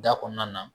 Da kɔnɔna na